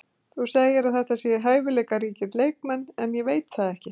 Þú segir að þetta séu hæfileikaríkir leikmenn en ég veit það ekki.